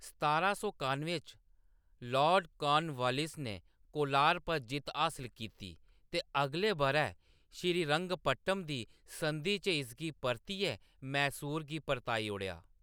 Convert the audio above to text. सतारां सौ कान्नुएं च, लॉर्ड कॉर्नवालिस ने कोलार पर जित्त हासल कीती ते अगले बʼरै श्रीरंगपट्टम दी संधि च इसगी परतियै मैसूर गी परताई ओड़ेआ।